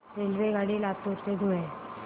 रेल्वेगाडी लातूर ते धुळे